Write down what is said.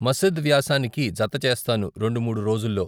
మసిద్ వ్యాసానికి జత చేస్తాను రెండు మూడు రోజుల్లో.